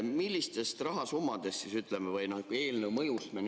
Millistest rahasummadest?